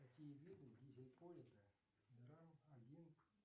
какие виды дизель полида драм один